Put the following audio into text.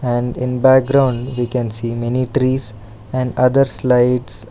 And in background we can see many trees and other slides.